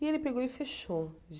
E ele pegou e fechou.